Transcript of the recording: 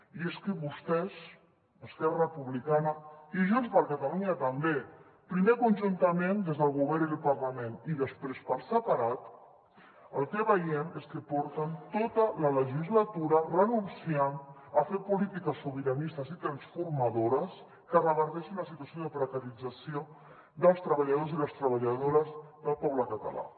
i és que vostès esquerra republicana i junts per catalunya també primer conjuntament des del govern i el parlament i després per separat el que veiem és que porten tota la legislatura renunciant a fer polítiques sobiranistes i transformadores que reverteixin la situació de precarització dels treballadors i les treballadores del poble català